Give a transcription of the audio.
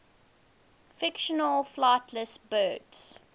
fictional flightless birds